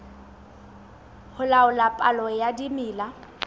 ho laola palo ya dimela